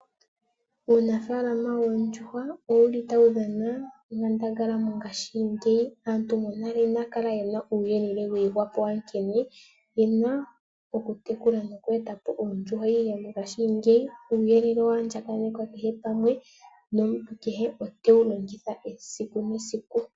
Uunafaalama woondjuhwa owuli tawu dhana onkandangala mongaashingeyi. Aantu monale inaya kala yena uuyelele wa ihwa po wankene yena oku tekula noku etapo oondjuhwa, ihe mongaashingeyi uuyelele owa andjakanekwa kehe pamwe, nomuntu kehe otewu longitha esiku nesiku.